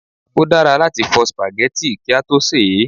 Ó dára láti fọ spaghetti kí a tó sè é